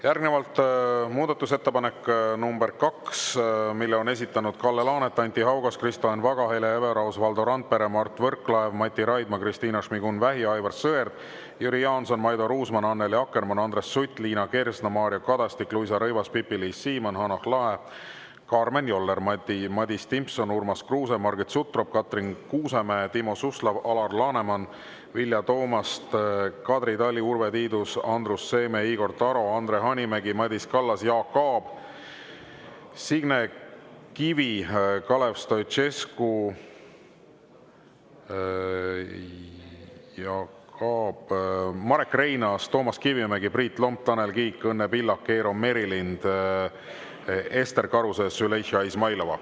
Järgnevalt muudatusettepanek nr 2, mille on esitanud Kalle Laanet, Anti Haugas, Kristo Enn Vaga, Hele Everaus, Valdo Randpere, Mart Võrklaev, Mati Raidma, Kristina Šmigun-Vähi, Aivar Sõerd, Jüri Jaanson, Maido Ruusmann, Annely Akkermann, Andres Sutt, Liina Kersna, Mario Kadastik, Luisa Rõivas, Pipi-Liis Siemann, Hanah Lahe, Karmen Joller, Madis Timpson, Urmas Kruuse, Margit Sutrop, Katrin Kuusemäe, Timo Suslov, Alar Laneman, Vilja Toomast, Kadri Tali, Urve Tiidus, Andrus Seeme, Igor Taro, Andre Hanimägi, Madis Kallas, Jaak Aab, Signe Kivi, Kalev Stoicescu, Marek Reinaas, Toomas Kivimägi, Priit Lomp, Tanel Kiik, Õnne Pillak, Eero Merilind, Ester Karuse, Züleyxa Izmailova.